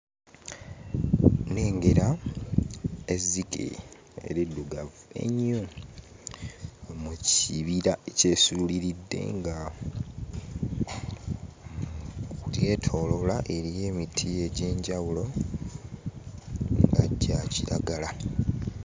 Nnengera ezzike eriddugavu ennyo mu kibira ekyesuuliridde nga lyetooloola, eriyo emiti egy'enjawulo nga gya kiragala.